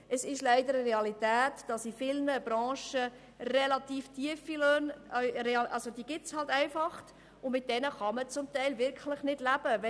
Es ist leider eine Realität, dass in vielen Branchen relativ tiefe Löhne bezahlt werden, von welchen man zum Teil wirklich nicht leben kann.